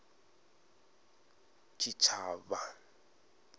tshitshavha